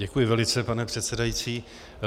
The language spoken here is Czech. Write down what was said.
Děkuji velice, pane předsedající.